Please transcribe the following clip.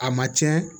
A ma tiɲɛ